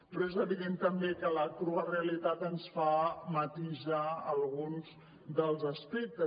però és evident també que la crua realitat ens en fa matisar alguns dels aspectes